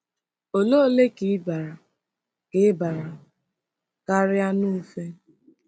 Òle ole ka i bara ka i bara kari anu-ufe? ”